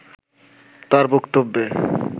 তার বক্তব্যে